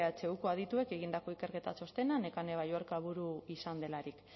ehuko adituek egindako ikerketa txostena nekane balluerka buru izan delarik